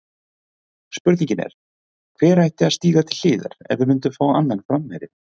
Spurningin er, hver ætti að stíga til hliðar ef við myndum fá annan framherja?